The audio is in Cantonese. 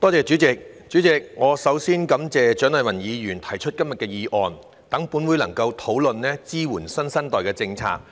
主席，首先，我感謝蔣麗芸議員提出今天的議案，讓本會能夠討論支援新生代的政策。